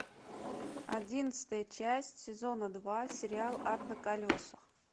одиннадцатая часть сезона два сериал ад на колесах